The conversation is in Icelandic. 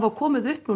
komið upp